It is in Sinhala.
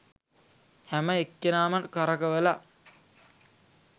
හැම එක්කෙනාම කරකවල